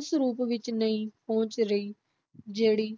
ਉਸ ਰੂਪ ਵਿਚ ਨਹੀਂ ਪਹੁੰਚ ਰਹੀ, ਜਿਹੜੀ